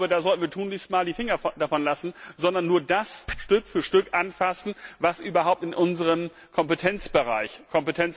Ich glaube, da sollten wir tunlichst mal die Finger davon lassen, sondern nur das Stück für Stück anfassen, was überhaupt in unserem Kompetenzbereich liegt.